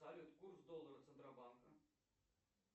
салют курс доллара центробанка